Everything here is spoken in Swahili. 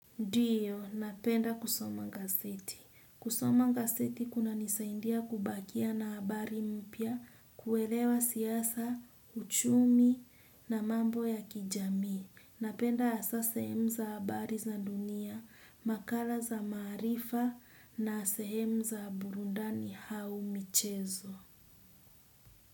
Ndiyo, napenda kusoma gazeti. Kusoma ngaseti kuna nisaidia kubakia na habari mpya, kuelewa siasa, uchumi na mambo ya kijamii. Napenda hasa sehemu za habari za dunia, makala za maarifa na sehemu za burundani hau michezo.